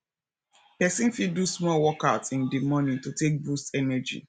person fit do small workout in di morning to take boost energy